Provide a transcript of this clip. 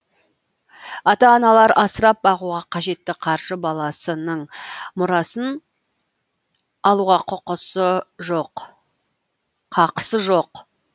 ата аналар асырап бағуға қажетті қаржы баласының мұрасын алуға қақысы жоқ